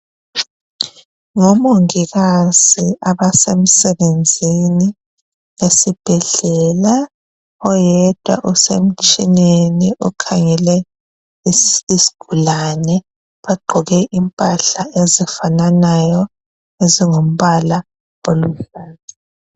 Ngomongikazi abasemsebenzini esibhedlela. Oyedwa usemtshineni ukhangele isigulani. Bagqoke impahla ezifananayo ezingumbala oluhlaza.